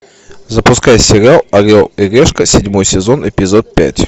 запускай сериал орел и решка седьмой сезон эпизод пять